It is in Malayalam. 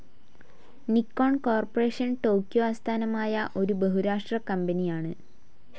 നിക്കോൺ കോർപ്പറേഷൻ ടോക്യോ ആസ്ഥാനമായ ഒരു ബഹുരാഷ്ട്ര കമ്പനിയാണ്.